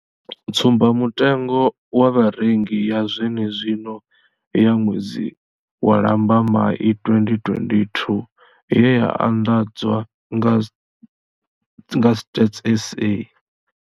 Tsumbamutengo wa Vharengi ya zwenezwino ya ṅwedzi wa Lambamai 2022 ye ya anḓadzwa nga Stats SA.